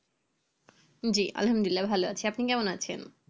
জি আলহামদুলিল্লাহ ভালো আছি আপনি কেমন আছেন?